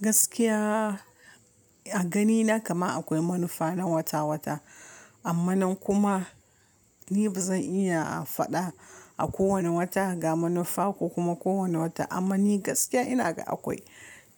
Gaskiya a ganina kama akwai manufa na wata-wata. Amma kuma ni ba zan iya a faɗa a kowane wata ga manufa ko kuma kowane wata. Amma ni gaskiya ina ga akwai.